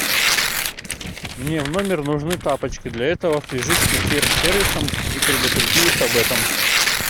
мне в номер нужны тапочки для этого свяжись с консьерж сервисом и предупреди их об этом